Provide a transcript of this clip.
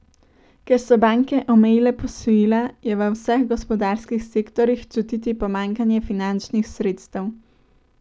Ker so banke omejile posojila, je v vseh gospodarskih sektorjih čutiti pomanjkanje finančnih sredstev.